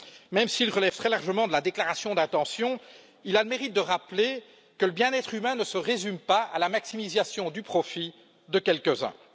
Même s'il relève très largement de la déclaration d'intention, il a le mérite de rappeler que le bien être humain ne se résume pas à la maximisation du profit de quelques uns.